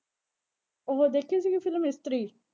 ਉਹ ਦੇਖੀ ਸੀਗੀ ਫ਼ਿਲਮ ਇਸਤਰੀ।